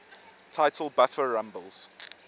title buffer rumbles